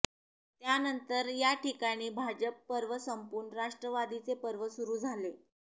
त्यानंतर याठिकाणी भाजप पर्व संपून राष्ट्रवादीचे पर्व सुरू झाले